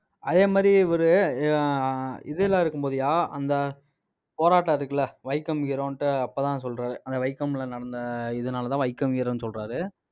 அதே மாதிரி இவரு, ஆஹ் இதெல்லாம் இருக்கும்போதுயா அந்த போராட்டம் இருக்குல்ல வைக்கம் hero ன்னுட்டு, அப்பதான் சொல்றாரு. அந்த வைக்கம்ல நடந்த இதனாலதான் வைக்கம் hero சொல்றாரு.